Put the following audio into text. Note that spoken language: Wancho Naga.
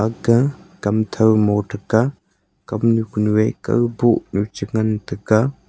aga kam tho mo taiga kamnu kunu ei kao bohnu cha ngan taiga.